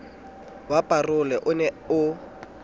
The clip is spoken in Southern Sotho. wa parole o ne o